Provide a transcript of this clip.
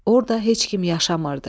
Orda heç kim yaşamırdı.